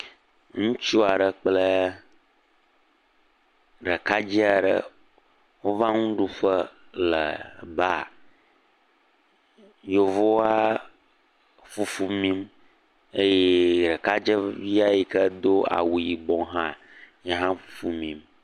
Ŋutsu aɖe kple ɖekadze aɖe wova nuɖuƒe le baa. Yevua fufu mim eye ɖekadzevi yi ke do awu yibɔ hã yehã fufu mim.